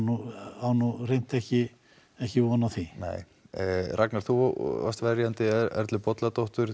á nú hreint ekki ekki von á því Ragnar þú varst verjandi Erlu Bolladóttur